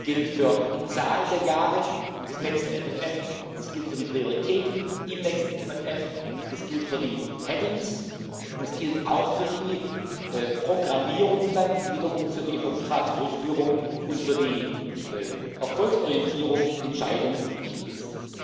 Das gilt für die Zahl der Jahre des nächsten MFR, das gilt für die Prioritäten im nächsten MFR, das gilt für die Rubriken, und es gilt auch für die Programmierung, die dann wiederum für die Auftragsdurchführung und für die Erfolgsorientierung entscheidend wichtig ist.